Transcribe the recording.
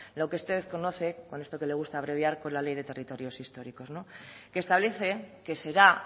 lo que usted conoce con esto que le gusta abreviar por la ley de territorios históricos que establece que será